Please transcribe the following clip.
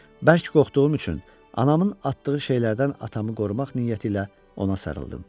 Bərk qorxduğum üçün anamın atdığı şeylərdən atamı qorumaq niyyəti ilə ona sarıldım.